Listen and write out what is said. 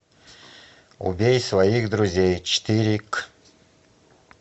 убей своих друзей четыре к